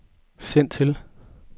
send til